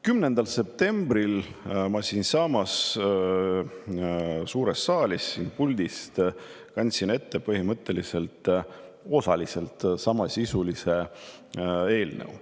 10. septembril kandsin ma siinsamas suures saalis puldist ette põhimõtteliselt osaliselt samasisulise eelnõu.